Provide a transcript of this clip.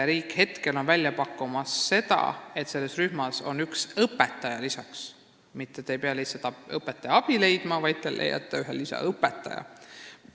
Riik pakub praegu välja, et lasteaiarühmas oleks üks õpetaja lisaks – sinna ei tule mitte lihtsalt õpetaja abi leida, vaid tuleb leida üks lisaõpetaja.